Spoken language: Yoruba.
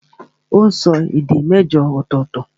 Ó n sọ èdè mẹ́jọ ọ̀tọ̀ọ̀tọ̀